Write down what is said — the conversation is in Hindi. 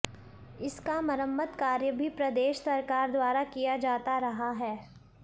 इसका मरम्मत कार्य भी प्रदेश सरकार द्वारा किया जाता रहा है